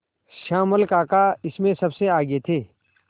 श्यामल काका इसमें सबसे आगे थे